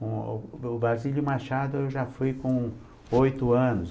O o Brasílio Machado eu já fui com oito anos.